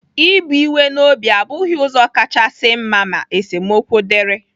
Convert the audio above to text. Ibu iwe n'obi abụghị ụzọ kasị mma ma esemokwu dịrị.